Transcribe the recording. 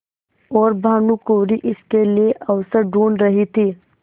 और भानुकुँवरि इसके लिए अवसर ढूँढ़ रही थी